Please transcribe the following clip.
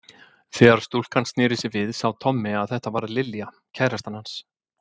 Þegar stúlkan snéri sér við sá Tommi að þetta var Lilja, kærastan hans